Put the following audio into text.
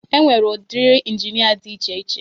E nwere udiri ịnginia dị iche iche